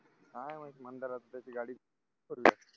काय माहित मंदार